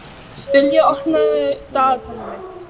Dilja, opnaðu dagatalið mitt.